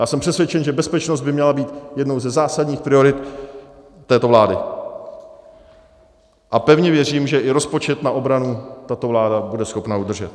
Já jsem přesvědčen, že bezpečnost by měla být jednou ze zásadních priorit této vlády, a pevně věřím, že i rozpočet na obranu tato vláda bude schopna udržet.